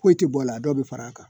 Foyi tɛ bɔ a la dɔw bɛ far'a kan